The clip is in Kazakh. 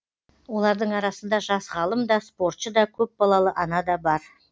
олардың арасында жас ғалым да спортшы да көпбалалы ана да бар